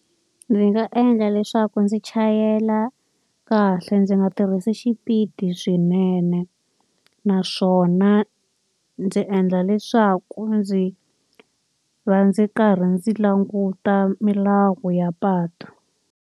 Ndzi nga endla leswaku ndzi chayela kahle ndzi nga tirhisi xipidi swinene. Naswona ndzi endla leswaku ndzi va ndzi karhi ndzi languta milawu ya patu.